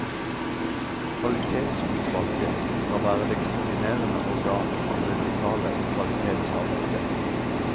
Kvalitetsutvalget skal være det koordinerende organ for det lokale kvalitetsarbeidet.